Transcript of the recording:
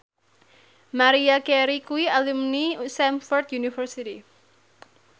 Maria Carey kuwi alumni Stamford University